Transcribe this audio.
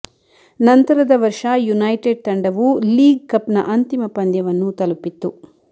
ನಂತರದ ವರ್ಷ ಯುನೈಟೆಡ್ ತಂಡವು ಲೀಗ್ ಕಪ್ನ ಅಂತಿಮ ಪಂದ್ಯವನ್ನು ತಲುಪಿತ್ತು